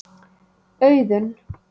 Auðun